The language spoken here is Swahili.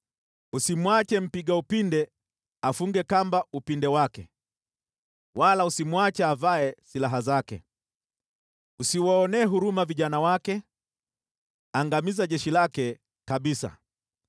Usimwache mpiga upinde afunge kamba upinde wake, wala usimwache avae silaha zake. Usiwaonee huruma vijana wake; angamiza jeshi lake kabisa.